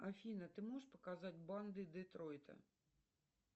афина ты можешь показать банды детройта